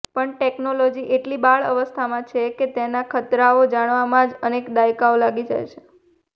પણ ટેકનોલોજી એટલી બાળઅવસ્થામાં છે કે તેના ખતરાઓ જાણવામાં જ અનેક દાયકાઓ લાગી જવાના છે